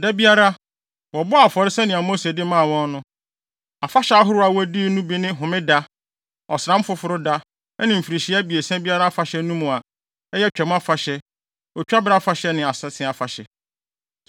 Da biara, wɔbɔɔ afɔre sɛnea Mose de maa wɔn no. Afahyɛ ahorow a wodii no bi ne Homeda, Ɔsram Foforo Da, ne mfirihyia abiɛsa biara afahyɛ no mu a, ɛyɛ Twam Afahyɛ, Otwabere Afahyɛ ne Asese Afahyɛ.